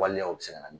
Waleyaw bɛ se ka na